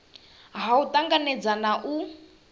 ha u tanganedza na u